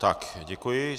Tak, děkuji.